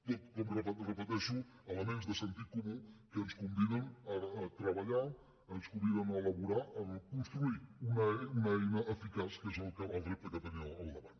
tot com repeteixo elements de sentit comú que ens conviden a treballar ens conviden a elaborar a construir una eina eficaç que és el repte que tenim al davant